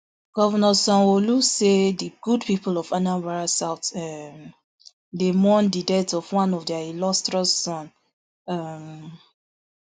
govnor sanwoolu say di good pipo of anambra south um dey mourn di death of one of dia illustrious son um